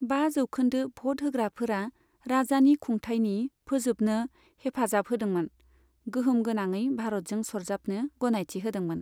बा जौखोन्दो भट होग्राफोरा राजानि खुंथाइनि फोजोबनो हेफाजाब होदोंमोन, गोहोम गोनाङै भारतजों सरजाबनो गनायथि होदोंमोन।